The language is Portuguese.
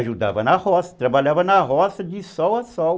Ajudava na roça, trabalhava na roça de sol a sol.